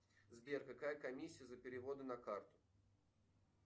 сбер какая комиссия за переводы на карту